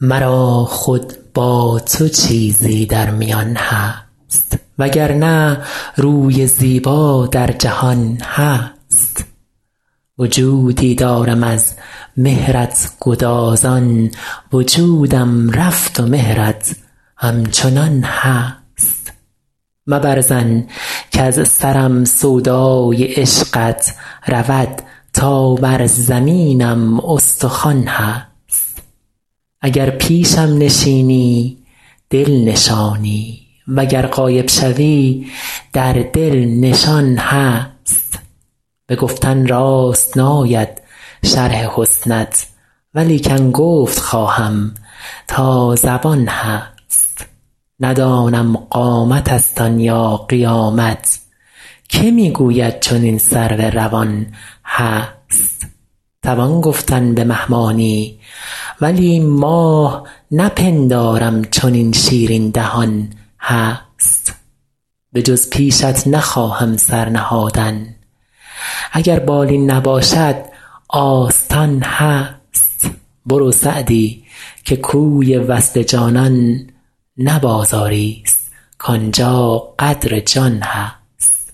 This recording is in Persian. مرا خود با تو چیزی در میان هست و گر نه روی زیبا در جهان هست وجودی دارم از مهرت گدازان وجودم رفت و مهرت همچنان هست مبر ظن کز سرم سودای عشقت رود تا بر زمینم استخوان هست اگر پیشم نشینی دل نشانی و گر غایب شوی در دل نشان هست به گفتن راست ناید شرح حسنت ولیکن گفت خواهم تا زبان هست ندانم قامتست آن یا قیامت که می گوید چنین سرو روان هست توان گفتن به مه مانی ولی ماه نپندارم چنین شیرین دهان هست بجز پیشت نخواهم سر نهادن اگر بالین نباشد آستان هست برو سعدی که کوی وصل جانان نه بازاریست کان جا قدر جان هست